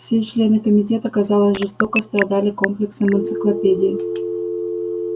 все члены комитета казалось жестоко страдали комплексом энциклопедии